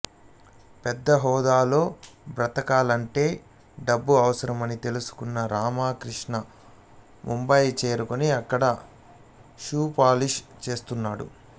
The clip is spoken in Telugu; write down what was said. పెద్ద హోదాలో బ్రతకాలంటే డబ్బు అవసరం అని తెలుసుకున్న రామకృష్ణ ముంబయి చేరుకుని అక్కడ షూ పాలిష్ చేస్తుంటాడు